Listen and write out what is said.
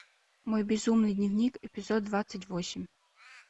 мой безумный дневник эпизод двадцать восемь